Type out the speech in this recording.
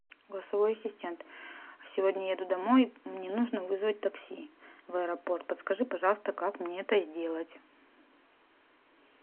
голосовой ассистент сегодня еду домой мне нужно вызвать такси в аэропорт подскажи пожалуйста как мне это сделать